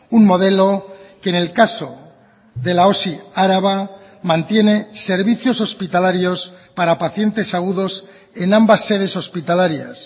un modelo que en el caso de la osi araba mantiene servicios hospitalarios para pacientes agudos en ambas sedes hospitalarias